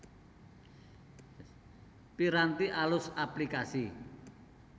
Piranti alus aplikasi